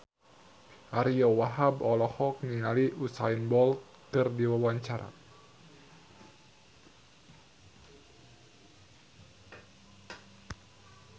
Ariyo Wahab olohok ningali Usain Bolt keur diwawancara